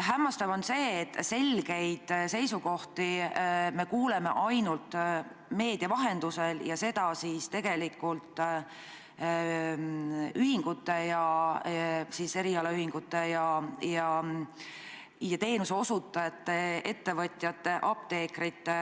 Hämmastav on see, et selgeid seisukohti kuuleme ainult meedia vahendusel ning sedagi tegelikult erialaühingute ja teenuseosutajate, ettevõtjate, apteekrite,